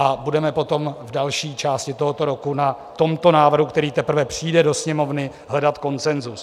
A budeme potom v další části tohoto roku na tomto návrhu, který teprve přijde do Sněmovny, hledat konsenzus.